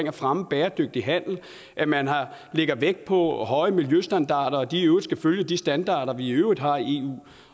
at fremme bæredygtig handel at man lægger vægt på høje miljøstandarder og at de skal følge de standarder vi i øvrigt har i eu